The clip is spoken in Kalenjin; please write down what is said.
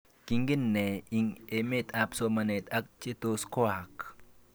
Kingen ne ing imet ap somanet ak che tos koaak?